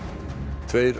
tveir